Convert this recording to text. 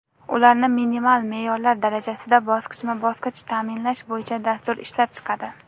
ularni minimal me’yorlar darajasida bosqichma-bosqich ta’minlash bo‘yicha dastur ishlab chiqadi.